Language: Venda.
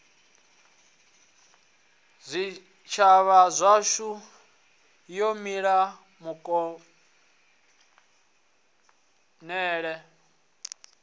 zwitshavha zwashu wo mila kuvhonele